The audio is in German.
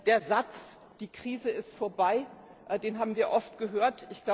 Der Satz die Krise ist vorbei, den haben wir oft gehört.